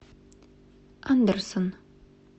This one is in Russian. андерсон